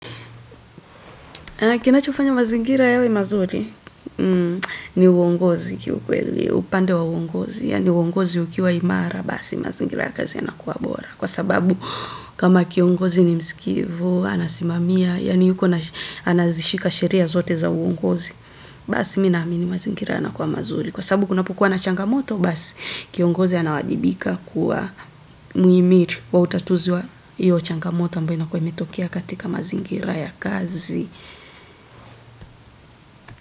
Kinachofanya mazingira yawe mazuri, ni uongozi. Kiukweli, upande wa uongozi yani uongozi ukiwa imara, basi mazingira ya kazi yanakuwa bora. Kwa sababu kama kiongozi ni msikivu, anasimamia, yani yuko anazishika sheria zote za uongozi, basi mimi naamini mazingira ya nakuwa mazuri. Kwa sabu kunapokua na changamoto basi kiongozi anawajibika kuwa muimiri wa utatuzui ya changamoto ambayo inakuwa imetokea katika mazingira ya kazi.